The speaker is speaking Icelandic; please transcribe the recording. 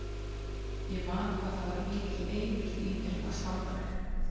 Ég man hvað það var mikil einurð í mér að standa mig.